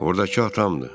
Ordakı atamdır.